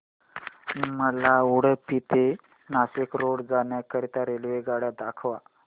मला उडुपी ते नाशिक रोड जाण्या करीता रेल्वेगाड्या दाखवा